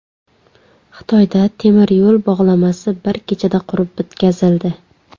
Xitoyda temiryo‘l bog‘lamasi bir kechada qurib bitkazildi .